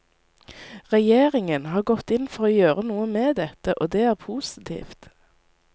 Regjeringen har gått inn for å gjøre noe med dette, og det er positivt.